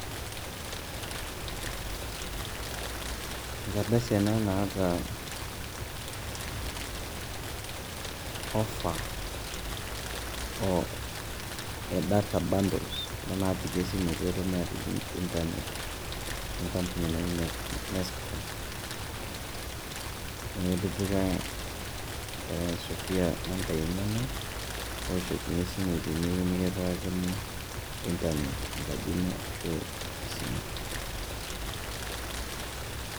Enkardasi ena naata offer e data bundles kuna naapik esimu pee etumokini aatijing' internet e kampuni naji nescom naa ketipika enkerai naji Sophia nambai enyenak pee ewoshokini esimu teneyieu nekipikakini internet enkaji ino ashu office ino.